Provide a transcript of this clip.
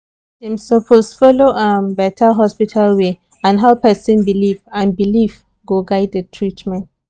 doctor suppose follow um better hospital way and how person believe and belief go guide the treatment